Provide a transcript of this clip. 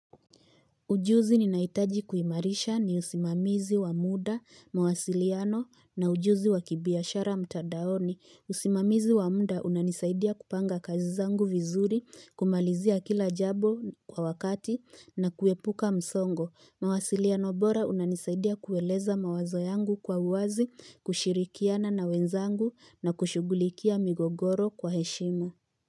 Ujuzi ninaitaji kuimarisha ni usimamizi wa muda, mawasiliano na ujuzi wa kibiashara mtadaoni. Usimamizi wa muda unanisaidia kupanga kazi zangu vizuri, kumalizia kila jabo kwa wakati na kuepuka msongo. Mawasiliano bora unanisaidia kueleza mawazo yangu kwa uwazi, kushirikiana na wenzangu na kushugulikia migogoro kwa heshima.